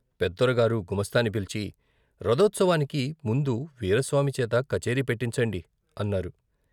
పెదొరగారు గుమాస్తాని పిలిచి "రథోత్సవానికి ముందు వీరాస్వామి చేత కచేరీ పెట్టించండి " అన్నారు.